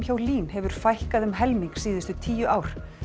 hjá LÍN hefur fækkað um helming síðustu tíu ár